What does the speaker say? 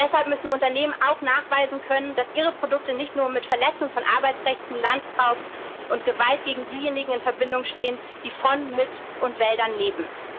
Deshalb müssen Unternehmen auch nachweisen können, dass ihre Produkte nicht mit Verletzung von Arbeitsrechten, Landraub und Gewalt gegen diejenigen in Verbindung stehen, die von, mit und in